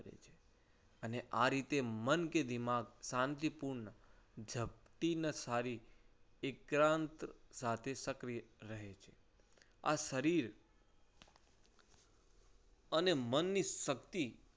અને આ રીતે મન કે દિમાગ શાંતિપૂર્ણ ચપટી નઠારી એકાંત સાથે સક્રિય રહે છે. આ શરીર અને મનની શક્તિ